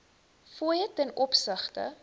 fooie ten opsigte